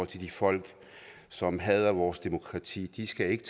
til de folk som hader vores demokrati de skal ikke